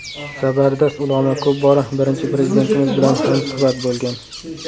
Zabardast ulamo ko‘p bora Birinchi Prezidentimiz bilan hamsuhbat bo‘lgan.